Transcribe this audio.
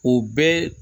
O bɛɛ